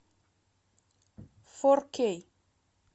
фор кей